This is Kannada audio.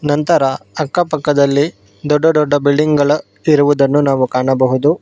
ನಂತರ ಅಕ್ಕ ಪಕ್ಕದಲ್ಲಿ ದೊಡ್ಡ ದೊಡ್ಡ ಬಿಲ್ಡಿಂಗ್ ಗಳ ಇರುವುದನ್ನು ನಾವು ಕಾಣಬಹುದು.